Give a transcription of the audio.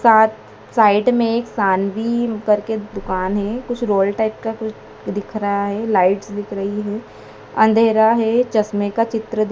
सात साइड में एक शानवी करके दुकान है कुछ रोल टाइप का कुछ दिख रहा है लाइट्स दिख रही है अंधेरा है चश्मे का चित्र--